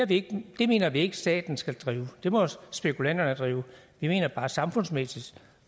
det mener vi ikke staten skal drive det må spekulanterne drive vi mener bare samfundsmæssigt